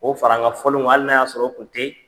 K'o far'an ŋa fɔlenw ŋa hali n'a y'a sɔrɔ o tun te